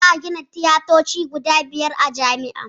Za a gina tiyatoci guda biyar a jami'ar